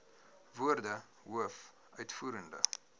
woorde hoof uitvoerende